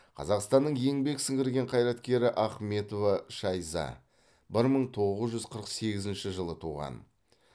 қазақстанның еңбек сіңірген қайраткері ахметова шайза бір мың тоғыз жүз қырық сегізінші жылы туған